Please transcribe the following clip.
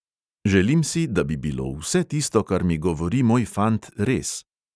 Želim si, da bi bilo vse tisto, kar mi govori moj fant, res.